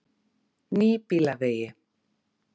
Nýbýlavegi